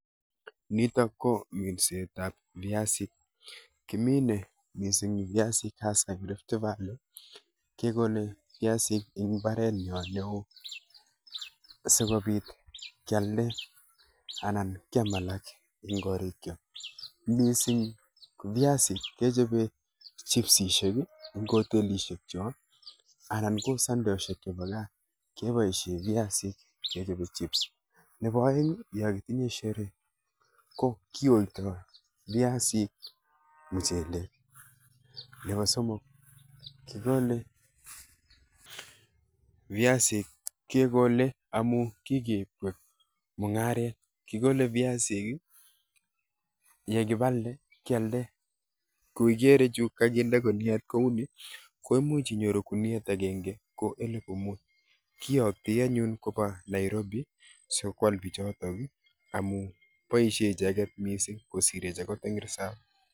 Nitok ko minsetap viasik. Kikole viasik mising hasa eng Rift valley kekole viasik eng mbarenyo neo asikobit kealde anan kyam alak ane korikcho. Misimg ko viasik kechopoe chipsishek eng hotelishekcho anan ko sandeshek chepo gaa, kepoishe viasik kechope chips. Nepo oeng yokitinye sheree ko kiyoitoi viasik muchelek. Nepo somok, kokole viasik kekole amu kikeip kwek mung'aret, kikole viasik, yekipalde kyalde ku ikere chu kakinde kuniet kuni ko imuch inyoru kuniet akenke ko elepu mut. Kiyoktoi anyun kopa Nairobi sikwal pichoto amu boishe icheket mising kosirech akot eng risap.